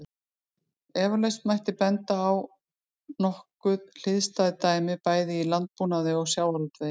Eflaust mætti benda á nokkuð hliðstæð dæmi bæði í landbúnaði og sjávarútvegi.